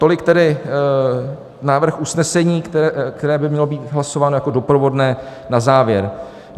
Tolik tedy návrh usnesení, které by mělo být hlasováno jako doprovodné na závěr.